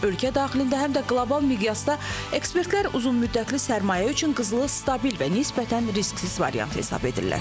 Həm ölkə daxilində, həm də qlobal miqyasda ekspertlər uzunmüddətli sərmayə üçün qızılı stabil və nisbətən risksiz variant hesab edirlər.